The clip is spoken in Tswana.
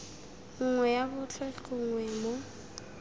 nngwe ya botlhe gongwe mo